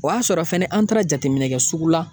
O y'a sɔrɔ fɛnɛ an taara jateminɛkɛ sugu la.